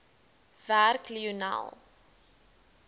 werk lionel